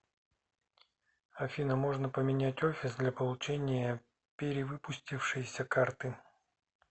афина можно поменять офис для получения перевыпустившейся карты